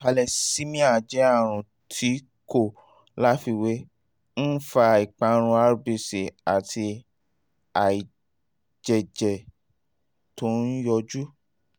thalesemia jẹ́ àrùn tí kò láfiwé ń fa ìparun rbc àti àìjẹ́jẹ́jẹ́ tó ń yọjú